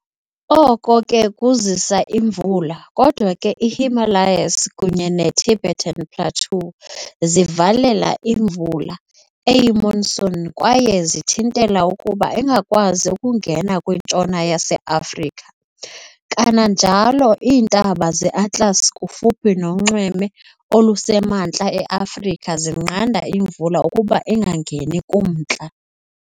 Oko ke kuzisa imvula, kodwa ke i-Himalayas kunye ne-Tibetan Plateau zivalela imvula eyi-monsoon kwaye zithintela ukuba ingakwazi ukungena kwiNtshona yaseAfrika. Kananjalo, iintaba ze-Atlas kufuphi nonxweme olusemantla e-Afrika zinqanda imvula ukuba ingangeni kumntla.